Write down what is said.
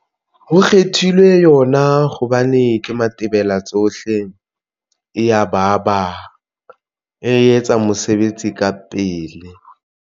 Ho kgethilwe yona hobane ke matebela tsohle eya baba e etsa mosebetsi ka pele.